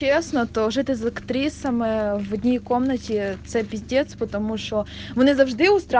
честно тоже ты смотри сама я в одной комнате капец потому что мы должны